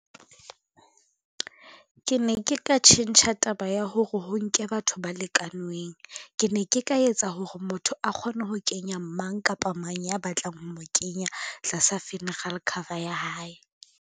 Ke ne ke ka tjhentjha taba ya hore ho nke batho ba lekanweng, ke ne ke ka etsa hore motho a kgone ho kenya mang kapa mang ya batlang ho mo kenya tlasa funeral cover ya hae.